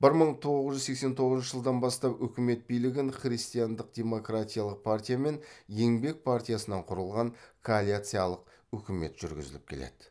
бір мың тоғыз жүз сексен тоғызыншы жылдан бастап өкімет билігін христиандық демократиялық партия мен еңбек партиясынан құрылған коалицалық үкімет жүргізіп келеді